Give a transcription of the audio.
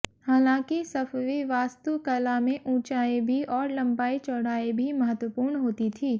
हालांकि सफ़वी वास्तुकला में ऊंचाई भी और लम्बाई चौड़ाई भी महत्वपूर्ण होती थी